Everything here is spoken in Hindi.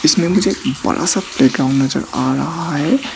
इसमें मुझे एक बड़ा सा प्लेग्राउंड नजर आ रहा है।